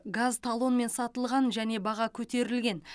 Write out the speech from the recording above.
газ талонмен сатылған және баға көтерілген